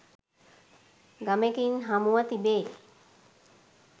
ගමෙකින් හමුව තිබේ